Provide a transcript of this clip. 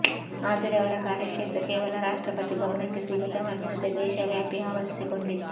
ಆದರೆ ಅವರ ಕಾರ್ಯಕ್ಷೇತ್ರ ಕೇವಲ ರಾಷ್ಟ್ರಪತಿ ಭವನಕ್ಕೆ ಸೀಮಿತವಾಗಿರದೆ ದೇಶವ್ಯಾಪಿ ಆವರಿಸಿಕೊಂಡಿತ್ತು